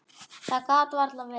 Það gat varla verið.